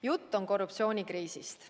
Jutt on korruptsioonikriisist.